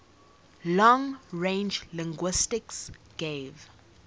long range linguistics gave